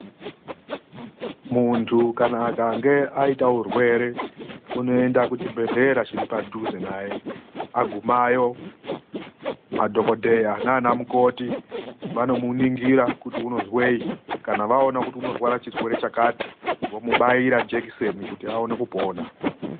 Muntu kana akange aita urwere, unoenda kuchibhedhlera chiri padhuze naye. Agumayo madhokodheya naana mukoti, vanomuningira kuti unozweyi, kana vaona kuti unorwara chirwere chakati, vomubaira jekiseni kuti awone kupona.